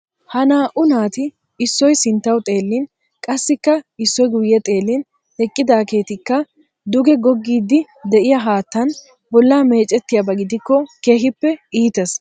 Ha naa"u naati issoy sinttawu xeellin qassikka issoy guyye xeellin eqqidaageeti ka duge goggiiddi de'iya haattan bollaa meecettiyaba gidikko keehippe iitees.